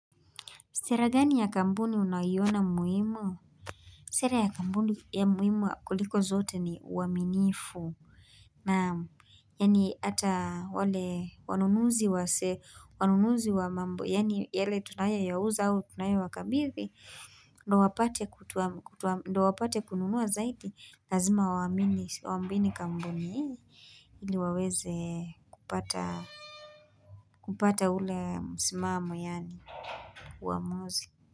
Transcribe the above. Sera gani ya kampuni unayiona muhimu? Sera ya kampuni ya muhimu kuliko zote ni uaminifu. Naam yaani ata wale wanunuzi wa se wanunuzi wa mambo. Yaani yale tunayo ya huza au tunaya wa kabidhi. Ndo wapate kununua zaidi. Lazima waminisi, wambini kampuni ili waweze kupata. Kupata ule msimamo yaani uamuzi.